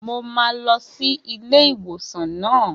Mo máa lọ sí ilé ìwòsàn naa